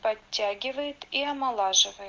подтягивает и омолаживает